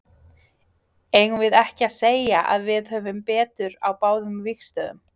Eigum við ekki að segja að við höfum betur á báðum vígstöðvum?